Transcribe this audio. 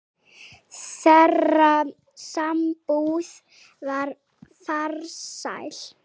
Þeirra sambúð var farsæl.